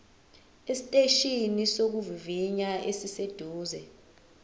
esiteshini sokuvivinya esiseduze